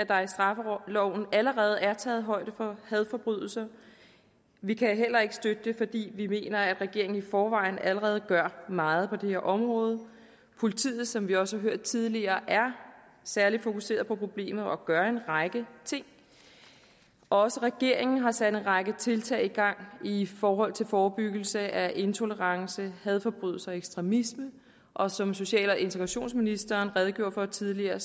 der i straffeloven allerede er taget højde for hadforbrydelser vi kan heller ikke støtte det fordi vi mener at regeringen i forvejen allerede gør meget på det her område politiet som vi også har hørt tidligere er særlig fokuseret på problemet og gør en række ting også regeringen har sat en række tiltag i gang i forhold til forebyggelse af intolerance hadforbrydelser og ekstremisme og som social og integrationsministeren redegjorde for tidligere